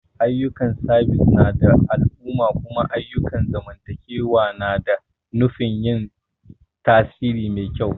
Ayyukan sabis na al'umma kuma ayyukan zamantakewa ne da nufin yin tasiri mai kyau.